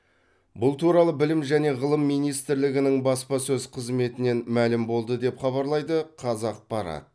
бұл туралы білім және ғылым министрлігінің баспасөз қызметінен мәлім болды деп хабарлайды қазақпарат